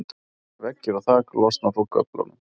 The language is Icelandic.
veggir og þak losna frá göflunum